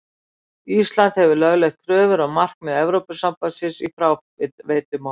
Ísland hefur lögleitt kröfur og markmið Evrópusambandsins í fráveitumálum.